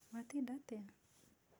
Watinda atĩa?